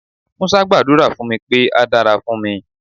Musa gbàdúrà fún mi pé á dára fún mi.